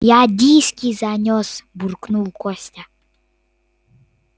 я диски занёс буркнул костя